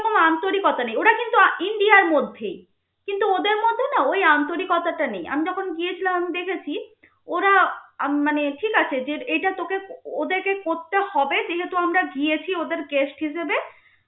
আন্তরিকতা নেই. ওরা কিন্তু ইন্ডিয়ার মধ্যেই, কিন্তু ওদের মধ্যে না ওই আন্তরিকতাটা নেই. আমি যখন গিয়েছিলাম আমি দেখেছি, ওরা মানে ঠিক আছে যে এইটা তোকে ওদেরকে করতে হবে, যেহেতু আমরা গিয়েছি ওদের guest হিসেবে